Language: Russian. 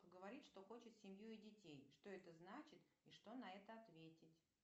говорит что хочет семью и детей что это значит и что на это ответить